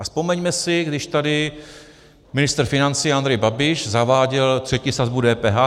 A vzpomeňme si, když tady ministr financí Andrej Babiš zaváděl třetí sazbu DPH.